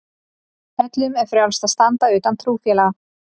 Öllum er frjálst að standa utan trúfélaga.